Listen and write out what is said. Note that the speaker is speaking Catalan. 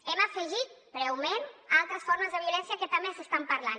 hem afegit breument altres formes de violència que també s’estan parlant